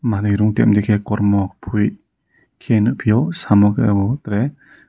manui rom tei amtike kormo phui ke nogpio samo kebo tere.